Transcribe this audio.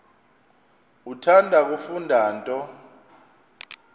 uthanda kufunda nto